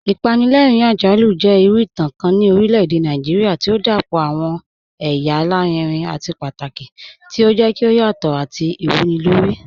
Apànlẹ̀rìn-àjàlù jẹ̀ ìrù ìtàn kàn ni orílẹ̀-èdè Nàìjíríà tí o dápọ̀ awọn èyà àlàrìnrìn àti pátàkì, tí o jẹ̀ kí o yàtọ̀ àti ìwúnilórí.